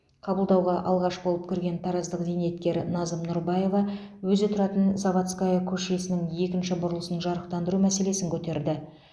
қабылдауға алғаш болып кірген тараздық зейнеткер назым нұрбаева өзі тұратын заводская көшесінің екінші бұрылысын жарықтандыру мәселесін көтерді